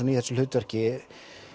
í þessu hlutverki